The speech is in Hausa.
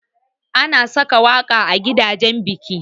Ana saka waƙa a gidajan biki.